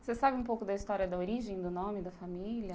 Você sabe um pouco da história da origem, do nome da família?